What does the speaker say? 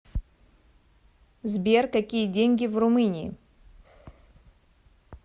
сбер какие деньги в румынии